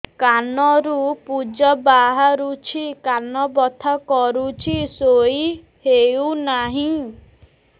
କାନ ରୁ ପୂଜ ବାହାରୁଛି କାନ ବଥା କରୁଛି ଶୋଇ ହେଉନାହିଁ